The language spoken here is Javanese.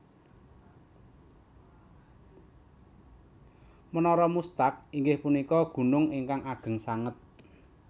Menara Muztagh inggih punika gunung ingkang ageng sanget